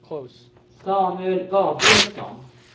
Samuel Gabrielsson